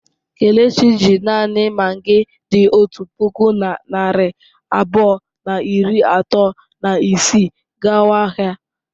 Kelechi ji naanị magị dị otu puku na narị abụọ na iri atọ na isii gawa ahịa.